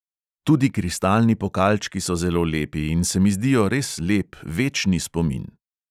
Tudi kristalni pokalčki so zelo lepi in se mi zdijo res lep, večni spomin.